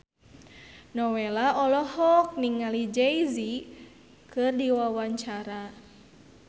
Nowela olohok ningali Jay Z keur diwawancara